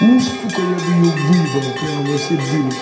у сука я бы её выебал прямо во все дыры